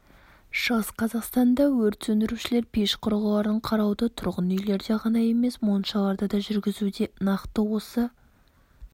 шығыс қазақстанда өрт сөндірушілер пеш құрылғыларын қарауды тұрғын үйлерде ғана емес моншаларда да жүргізуде нақты осы